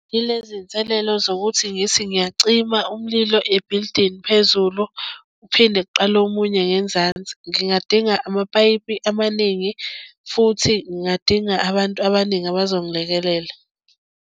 Yilezi iy'nselelo zokuthi ngithi ngiyacima umlilo ebhilidini phezulu, uphinde kuqala omunye ngenzansi. Ngingadinga amapayipi amaningi futhi ngingadinga abantu abaningi abazongilekelela.